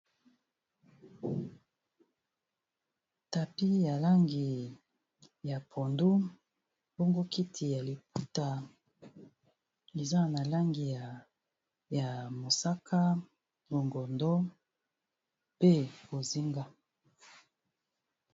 Tapis ya langi ya pondu bongo kiti ya liputa eza na langi ya mosaka, longondo, pe bozinga.